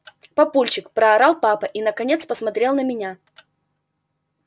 папульчик проорал папа и наконец посмотрел на меня